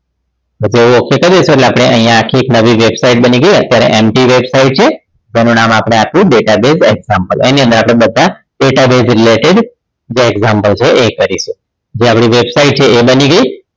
પછી હવે ok કરી દઈશું એટલે આપણે અહીંયા આખી એક નવી website બની ગઈ અત્યારે MG website છે તેનું નામ આપણે આપ્યું database example એની અંદર આપણે બધા database related જે example છે એ કરીશું જે આપણી website છે એ બની ગઈ